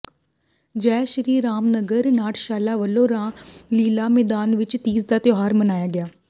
ਜੈ ਸ੍ਰੀ ਰਾਮ ਨਗਰ ਨਾਟਯਸ਼ਾਲਾ ਵੱਲੋਂ ਰਾਮਲੀਲਾ ਮੈਦਾਨ ਵਿੱਚ ਤੀਜ ਦਾ ਤਿਉਹਾਰ ਮਨਾਇਆ ਗਿਆ